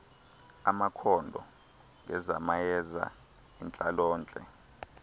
amakhondo ngezamayeza intlalontle